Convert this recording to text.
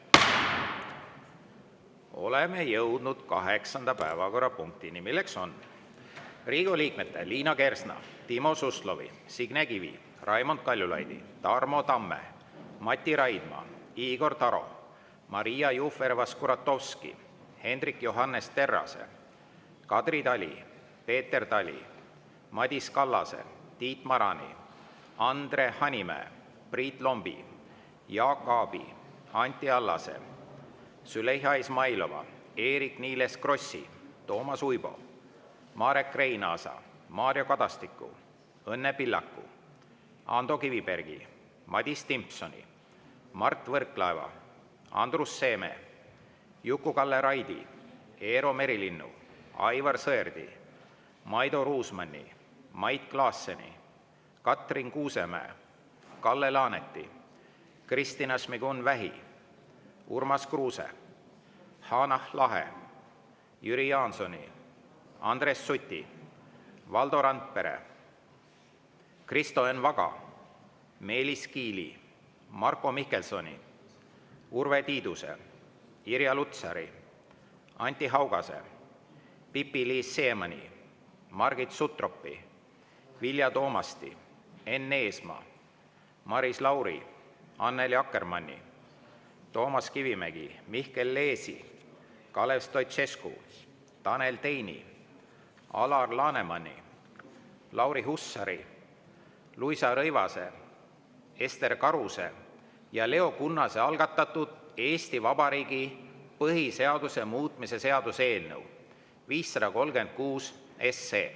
Oleme jõudnud kaheksanda päevakorrapunktini, milleks on Riigikogu liikmete Liina Kersna, Timo Suslovi, Signe Kivi, Raimond Kaljulaidi, Tarmo Tamme, Mati Raidma, Igor Taro, Maria Jufereva-Skuratovski, Hendrik Johannes Terrase, Kadri Tali, Peeter Tali, Madis Kallase, Tiit Marani, Andre Hanimäe, Priit Lombi, Jaak Aabi, Anti Allase, Züleyxa Izmailova, Eerik-Niiles Krossi, Toomas Uibo, Marek Reinaasa, Mario Kadastiku, Õnne Pillaku, Ando Kivibergi, Madis Timpsoni, Mart Võrklaeva, Andrus Seeme, Juku-Kalle Raidi, Eero Merilinnu, Aivar Sõerdi, Maido Ruusmanni, Mait Klaasseni, Katrin Kuusemäe, Kalle Laaneti, Kristina Šmigun-Vähi, Urmas Kruuse, Hanah Lahe, Jüri Jaansoni, Andres Suti, Valdo Randpere, Kristo Enn Vaga, Meelis Kiili, Marko Mihkelsoni, Urve Tiiduse, Irja Lutsari, Anti Haugase, Pipi-Liis Siemanni, Margit Sutropi, Vilja Toomasti, Enn Eesmaa, Maris Lauri, Annely Akkermanni, Toomas Kivimägi, Mihkel Leesi, Kalev Stoicescu, Tanel Teini, Alar Lanemani, Lauri Hussari, Luisa Rõivase, Ester Karuse ja Leo Kunnase algatatud Eesti Vabariigi põhiseaduse muutmise seaduse eelnõu 536.